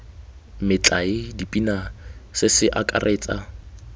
metlae dipina se se akaretsa